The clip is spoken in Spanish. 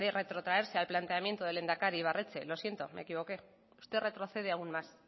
retrotraerse al planteamiento del lehendakari ibarretxe lo siento me equivoqué usted retrocede aún más